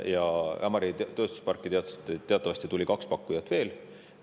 Ja Ämari tööstusparki teatavasti tuli kaks pakkujat veel.